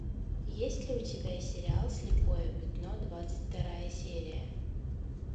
есть ли у тебя сериал слепое пятно двадцать вторая серия